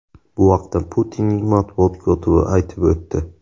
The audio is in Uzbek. Bu haqda Putinning matbuot kotibi aytib o‘tdi.